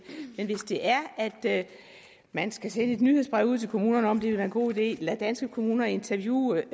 men hvis det er at man skal sende et nyhedsbrev ud til kommunerne om vil være en god idé at lade danske kommuner interviewe